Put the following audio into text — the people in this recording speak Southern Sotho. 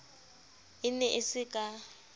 e ne e se ka